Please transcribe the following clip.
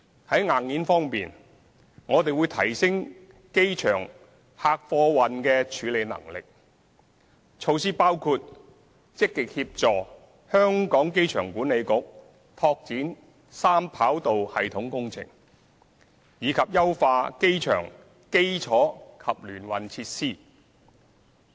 在硬件方面，我們會提升機場的客貨運處理能力，措施包括積極協助香港機場管理局拓展三跑道系統工程，以及優化機場基礎及聯運設施。